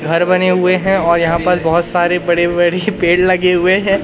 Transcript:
घर बने हुए है और यहां पर बहोत सारे बड़े बड़ी पेड़ लगे हुए है।